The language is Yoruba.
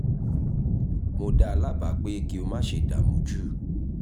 mo dá a lábàá pé kí o má ṣe dààmú jù